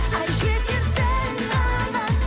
ай жетерсің тағы